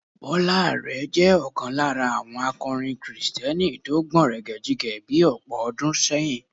Bọ́lá Àrẹ jẹ́ ọ̀kan lára àwọn akọrin kìrìsìtẹ́nì tó gbọ̀nrẹ̀gẹ̀jigẹ̀ bí ọ̀pọ̀ ọdún sẹ́yìn.